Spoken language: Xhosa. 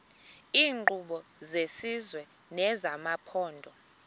iinkqubo zesizwe nezamaphondo